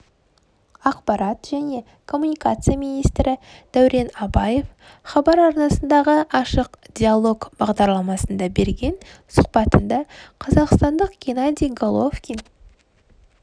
ақпарат және коммуникация министрі дәурен абаев хабар арнасындағы ашық диалог бағдарламасында берген сұхбатында қазақстандық геннадий головкин